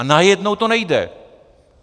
A najednou to nejde!